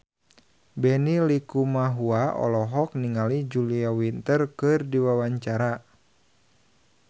Benny Likumahua olohok ningali Julia Winter keur diwawancara